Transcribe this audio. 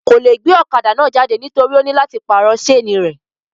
Kò le gbe ọ̀kadà náà jáde nítorí ó nílò láti pàrọ̀ sénì rẹ̀